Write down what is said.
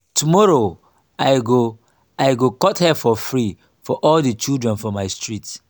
tomorrow i go i go cut hair for free for all di children for my street.